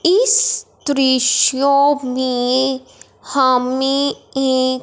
इस दृश्यों की हमें एक--